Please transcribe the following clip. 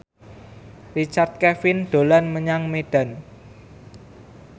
Richard Kevin dolan menyang Medan